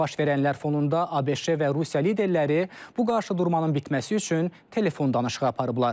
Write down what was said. Baş verənlər fonunda ABŞ və Rusiya liderləri bu qarşıdurmanın bitməsi üçün telefon danışığı aparıblar.